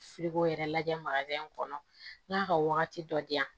yɛrɛ lajɛ kɔnɔ n'a ka wagati dɔ di yan